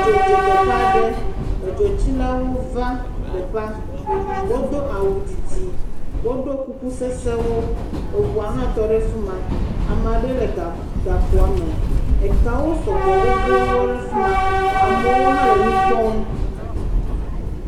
Dzo dze teƒe aɖe, edzo tsilawo va teƒea, wodo awu didi, wo do kuku sesẽwo, eʋua ha tɔ ɖe fima. Ame aɖe lé ga gakpoa me, etɔwo sɔgbɔ gbogboo ɖe fima, amewo ha le nu kpɔm.